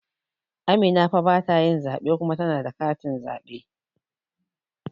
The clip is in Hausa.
Amina fa batayin zaɓe kuma tana da katin zaɓe